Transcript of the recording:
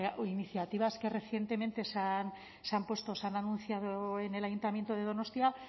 iniciativas que recientemente se han puesto se han anunciado en el ayuntamiento de donostia